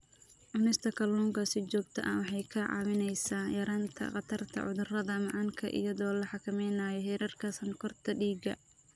Cunista kalluunka si joogto ah waxay kaa caawinaysaa yaraynta khatarta cudurka macaanka iyadoo la xakameynayo heerarka sonkorta dhiigga.